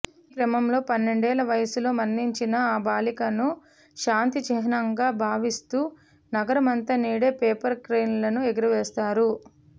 ఈ క్రమంలో పన్నెండేళ్ల వయసులో మరణించిన ఆ బాలికను శాంతి చిహ్నంగా భావిస్తూ నగరమంతా నేడు పేపర్ క్రేన్లు ఎగురవేస్తారు